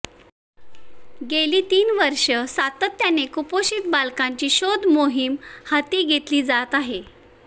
गेली तीन वर्षे सातत्याने कुपोषित बालकांची शोध मोहीम हाती घेतली जात आहे